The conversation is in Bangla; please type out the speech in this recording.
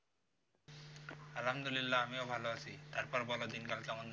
অহামিদুল্লা আমিও ভালো আছি, তারপর বল দিনকাল কেমন যাচ্ছে?